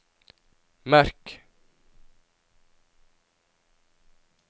merk